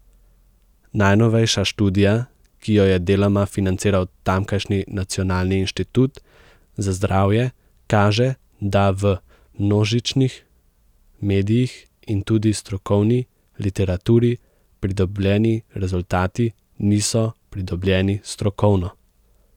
Najnovejša študija, ki jo je deloma financiral tamkajšnji nacionalni inštitut za zdravje, kaže, da v množičnih medijih in tudi strokovni literaturi pridobljeni rezultati niso pridobljeni strokovno.